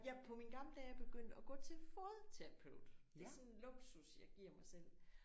Jeg er på mine gamle dage begyndt at gå til fodterapeut det er sådan en luksus jeg giver mig selv